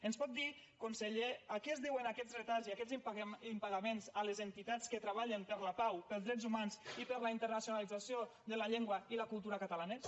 ens pot dir conseller a què es deuen aquests retards i aquests impagaments a les entitats que treballen per la pau pels drets humans i per la internacionalització de la llengua i la cultura catalanes